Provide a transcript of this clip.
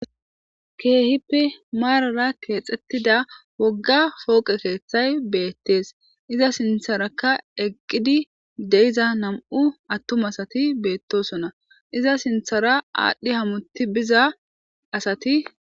keehippe maarara keexxettida wogga pooqe keeththay beettees iza sintharakka eqqidi deiza nam'u attum asati beettosona iza sinthara aadhdhi hamuti biza asati